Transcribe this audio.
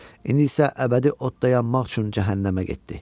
İndi isə əbədi odda yanmaq üçün cəhənnəmə getdi.